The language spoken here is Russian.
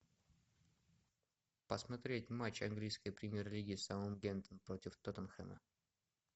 посмотреть матч английской премьер лиги саутгемптон против тоттенхэма